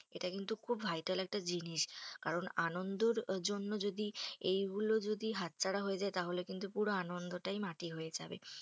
এটা কিন্তু খুব vital একটা জিনিস। কারণ আনন্দর জন্য যদি এইগুলো যদি হাতছাড়া হয়ে যায় তাহলে কিন্তু পুরো আনন্দটাই মাটি হয়ে যাবে।